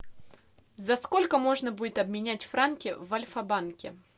за сколько можно будет обменять франки в альфа банке